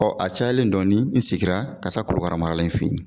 Ɔ a cayalen dɔɔnin in segira ka taa korokaramarala in fɛ yen